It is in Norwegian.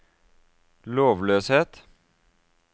lovløshet